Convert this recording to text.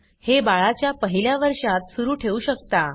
हे बाळाच्या पहिल्या वर्षात सुरू ठेवू शकता